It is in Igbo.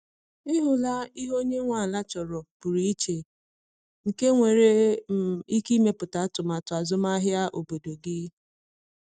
Ị hụla ihe onye nwe ala chọrọ pụrụ iche nke nwere um ike imetụta atụmatụ azụmahịa obodo gị?